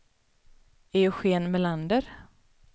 Eugen Melander